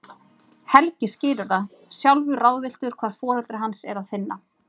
Helgi skilur það, sjálfur ráðvilltur hvar foreldra hans er að finna.